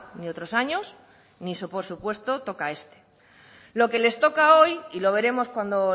ni otros años ni por supuesto toca este lo que les toca hoy y lo veremos cuando